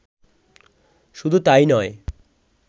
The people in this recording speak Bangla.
শুধু তাই নয়